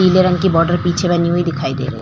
नीले रंग की बॉर्डर पीछे बनी हुई दिखाइ दे रही है।